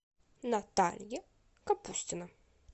наталья капустина